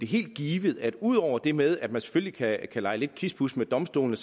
helt givet at ud over det med at man selvfølgelig kan lege kispus med domstolene